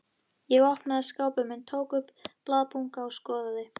Ég opnaði skápinn minn, tók upp blaðabunka og skoðaði.